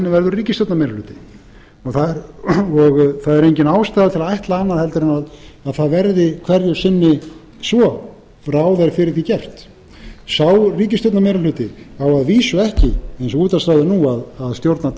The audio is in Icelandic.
verður ríkisstjórnarmeirihluti það er engin ástæða til að ætla annað heldur en það verði hverju sinni svo og ráð er fyrir því gert sá ríkisstjórnarmeirihluti á að vísu ekki eins og útvarpsráðið nú að stjórna